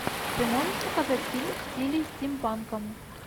ты можешь показать фильм в стиле стимпанка